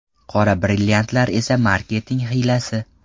Qora brilliantlar esa marketing hiylasi.